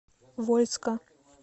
вольска